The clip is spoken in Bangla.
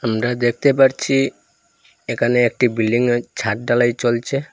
আমরা দেখতে পারছি একানে একটি বিল্ডিং এর ছাদ ঢালাই চলছে।